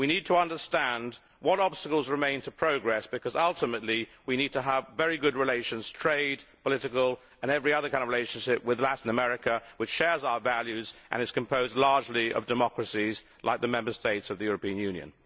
We need to understand what obstacles remain to progress, because ultimately we need to have very good relations trade, political and every kind of relationship with Latin America, which shares our values and is composed largely of democracies like the Member States of the European Union.